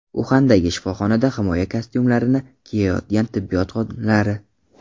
Uxandagi shifoxonada himoya kostyumlarini kiyayotgan tibbiyot xodimlari.